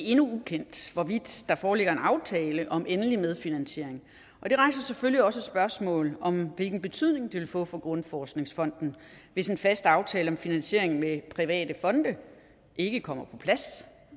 endnu ukendt hvorvidt der foreligger en aftale om endelig medfinansiering og det rejser selvfølgelig også et spørgsmål om hvilken betydning det vil få for danmarks grundforskningsfond hvis en fast aftale om finansiering med private fonde ikke kommer på plads